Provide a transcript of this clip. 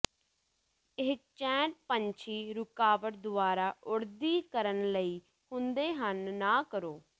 ਇਹ ਚੈਨ ਪੰਛੀ ਰੁਕਾਵਟ ਦੁਆਰਾ ਉੱਡਦੀ ਕਰਨ ਲਈ ਹੁੰਦੇ ਹਨ ਨਾ ਕਰੋ